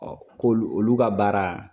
ko olu ka baara